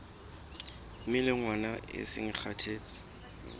melongwana e seng e kgathetse